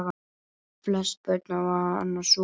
Flest börn hafa hana svona